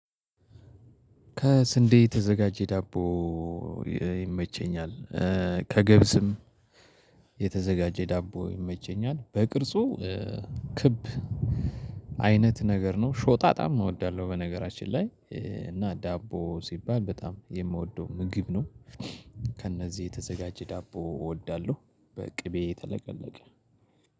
ከስንዴ የተዘጋጀ ዳቦ ይመቸኛል ከገብስም የተዘጋጀ ዳቦ ይመቸኛል በቅርጹ ክብ አይነት ነገር ነው ሾጣጣም እወዳለሁ በነገራችን ላይ እና ዳቦ ሲባል በጣም የምወደው ምግብ ነው። ከእነዚህ የተዘጋጀ ዳቦ እወዳለሁ። በቅቤ ተለቀለቀ